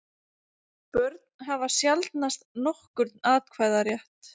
Börn hafa sjaldnast nokkurn atkvæðarétt.